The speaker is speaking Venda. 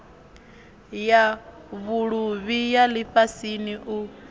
ya vhuluvhi ya lifhasini u